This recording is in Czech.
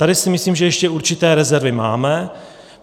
Tady si myslím, že ještě určité rezervy máme.